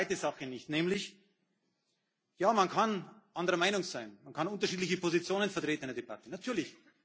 Ich verstehe eine zweite Sache nicht, nämlich Ja, man kann anderer Meinung sein, man kann unterschiedliche Positionen in einer Debatte vertreten, natürlich.